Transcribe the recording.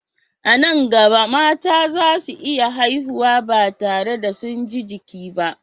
A nan gaba, mata za su iya haihuwa ba tare da sun ji jiki ba.